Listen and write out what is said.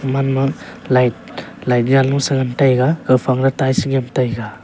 gaman ma light light jalosa che ngan taiga kawphang a tails nyem taiga.